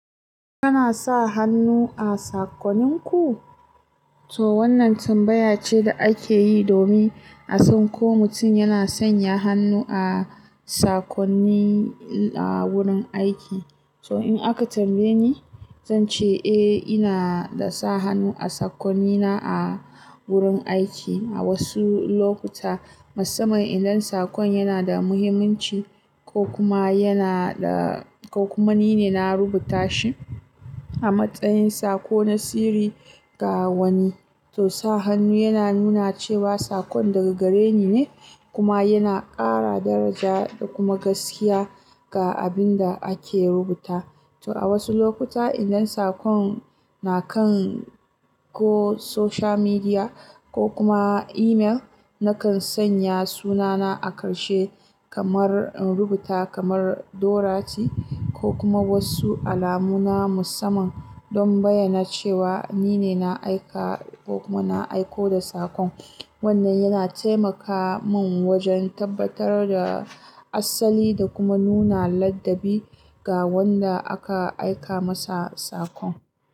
Kana sa hannu a saƙonninku? To wannan tambaya ce da ake yi domin a san ko mutum yana sanya hannu a sakonni a wurin aiki. To in aka tambaye ni, zan ce eh, ina da sa hannu a sakonnina a wurin aiki. A wasu lokuta, musamman idan sakon yana da muhimmanci ko kuma yana da, ko kuma nine na rubuta shi a matsayin sako na sirri ga wani. To sa hannu yana nuna cewa sakon daga gare ni ne kuma yana ƙara daraja da kuma gaskiya ga abin da ake rubuta. To a wasu lokuta idan sakon na kan ko social media ko kuma email, nakan sanya sunana a ƙarshe kamar in rubuta kamar Dorothy ko kuma wasu alamuna musamman don bayyana cewa nine na aika ko kuma na aiko da sakon. Wannan yana taimaka mun wajen tabbatar da asali da kuma nuna ladabi ga wanda aka aika masa sakon.